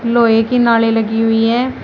लोहे की नाले लगी हुई हैं।